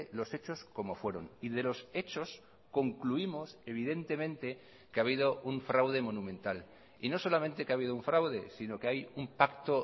los hechos como fueron y de los hechos concluimos evidentemente que ha habido un fraude monumental y no solamente que ha habido un fraude sino que hay un pacto